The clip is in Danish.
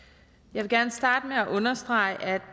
jeg vil gerne starte med at understrege